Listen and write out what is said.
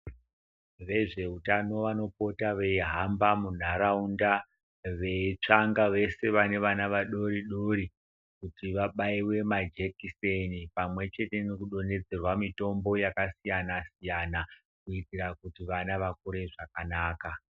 Vezveutano vanopota veihamba munharaunda veitsvanga vese vane vana vadori-dori. Kuti vabaive majekiseni pamwe chete nokudonhedzerwa mitombo yakasiyana-siyana. Kuitira kuti vana vakure zvakanaka.